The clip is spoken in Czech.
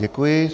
Děkuji.